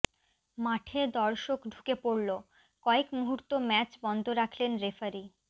মাঠে দর্শক ঢুকে পড়ল কয়েক মুহূর্ত ম্যাচ বন্ধ রাখলেন রেফারি